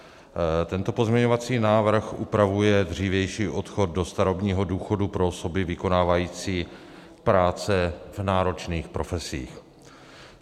Tento pozměňovací návrh upravuje dřívější odchod do starobního důchodu pro osoby vykonávající práce v náročných profesích.